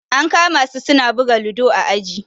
An kama su suna buga ludo a aji.